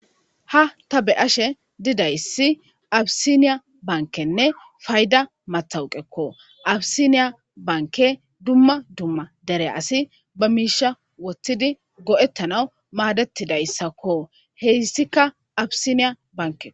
ha ta be ashe didayssi abisiniya bankenne fayda matawuqekko abisiniya banke dumma dumma dere asi ba miisha wothtidi go7ettana maadetidayssakko heyssikka abisiniya banke